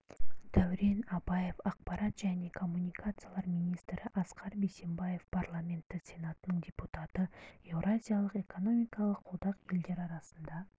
дәурен абаев ақпарат және коммуникациялар министрі асқар бейсембаев парламенті сенатының депутаты еуразиялық экономикалық одақ елдері арасында